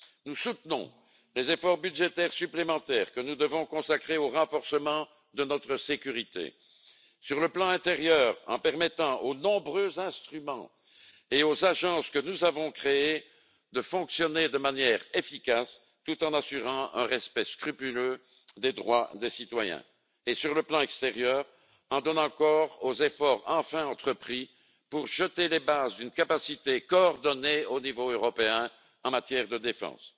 Nous soutenons les efforts budgétaires supplémentaires que nous devons consacrer au renforcement de notre sécurité, sur le plan intérieur, d'une part, en permettant aux nombreux instruments et aux agences que nous avons créés de fonctionner de manière efficace, tout en assurant un respect scrupuleux des droits des citoyens, et sur le plan extérieur, d'autre part, en donnant corps aux efforts enfin entrepris pour poser les bases d'une capacité coordonnée au niveau européen en matière de défense.